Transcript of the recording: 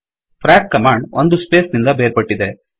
fracಫ್ರಾಕ್ command ಒಂದು space ನಿಂದ ಬೇರ್ಪಟ್ಟಿದೆ